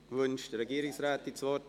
Wünscht die Regierungsrätin das Wort?